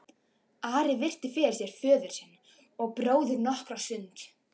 Ari virti fyrir sér föður sinn og bróður nokkra stund.